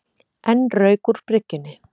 Enn rauk úr bryggjunni